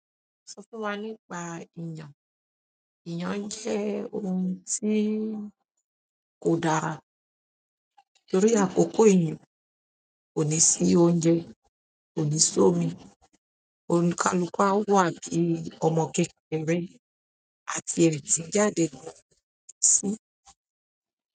Sọ fún wa nípa èèyàn. Iyan jẹ́ oun tí kò dára torí àkókò ìyàn, kò ní sí oúnjẹ, kò ní sí omi òǹikàlúkú a wà bí ọmọ kékeré àti èrìn tín jáde lọ sí.